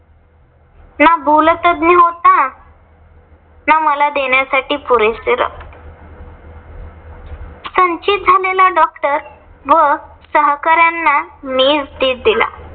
ना भूलतज्ञ होता. ना मला देण्यासाठी पुरेसे रक्त. संचित झालेला doctor व सहकार्यांना मीच धीर दिला.